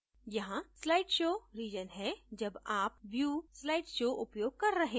यहाँ slideshow region है जब आप view slideshow उपयोग कर रहे हैं